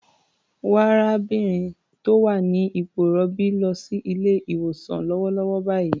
Wa arábìnrin tó wà ní ipò ìrọbí lọ sí ilé-ìwosàn lọ́wọ́lọ́wọ́ báyìí.